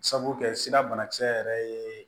Sabu kɛ sira banakisɛ yɛrɛ ye